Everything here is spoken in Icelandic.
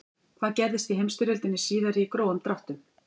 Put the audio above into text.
hvað gerðist í heimsstyrjöldinni síðari í grófum dráttum